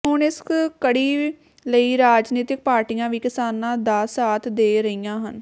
ਹੁਣ ਇਸ ਕੜੀ ਕਈ ਰਾਜਨੀਤਿਕ ਪਾਰਟੀਆਂ ਵੀ ਕਿਸਾਨਾਂ ਦਾ ਸਾਥ ਦੇ ਰਹੀਆਂ ਹਨ